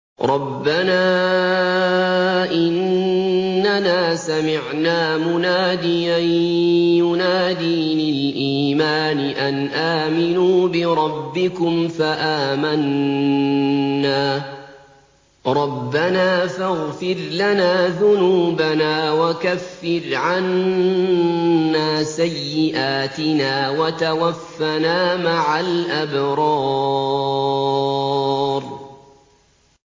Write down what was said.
رَّبَّنَا إِنَّنَا سَمِعْنَا مُنَادِيًا يُنَادِي لِلْإِيمَانِ أَنْ آمِنُوا بِرَبِّكُمْ فَآمَنَّا ۚ رَبَّنَا فَاغْفِرْ لَنَا ذُنُوبَنَا وَكَفِّرْ عَنَّا سَيِّئَاتِنَا وَتَوَفَّنَا مَعَ الْأَبْرَارِ